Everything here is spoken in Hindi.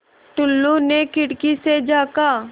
टुल्लु ने खिड़की से झाँका